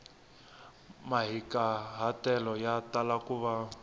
mahikahatelo ya tala ku va